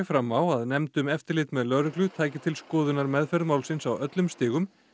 fram á að nefnd um eftirlit með lögreglu tæki til skoðunar meðferð málsins á öllum stigum